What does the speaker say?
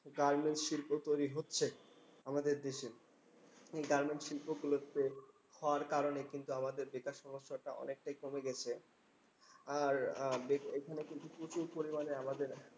Garments শিল্প তৈরী হচ্ছে আমাদের দেশে। গার্মেন্টস শিল্পগুলোতে হওয়ার কারণে কিন্তু আমাদের যেটা সমস্যা ওটা অনেকটাই কমে গেছে। আর আহ এখানে কিন্তু প্রচুর পরিমানে আমাদের